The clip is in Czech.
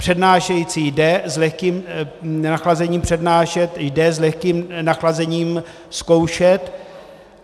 Přednášející jde s lehkým nachlazením přednášet, jde s lehkým nachlazením zkoušet.